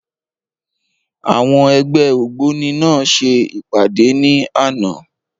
Àwọn ẹgbẹ́ ògbóni náà ṣe ìpàdé ní àná.